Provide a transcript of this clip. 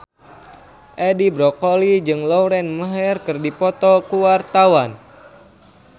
Edi Brokoli jeung Lauren Maher keur dipoto ku wartawan